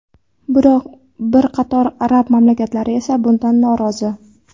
Biroq bir qator arab mamlakatlari esa bundan norozi.